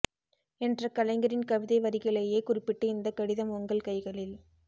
என்ற கலைஞரின் கவிதை வரிகளையே குறிப்பிட்டு இந்தக் கடிதம் உங்கள் கைகளில்